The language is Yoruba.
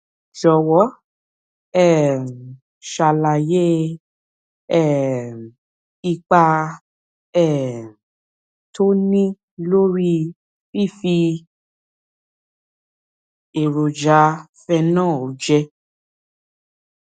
jòwó um ṣàlàyé um ipa um tó ń ní lórí fífi èròjà phenol jẹ